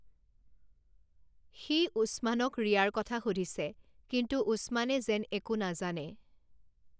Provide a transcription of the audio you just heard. সি উছমানক ৰিয়াৰ কথা সুধিছে, কিন্তু উছমানে যেন একো নাজানে।